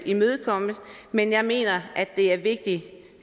imødekommet men jeg mener at det er vigtigt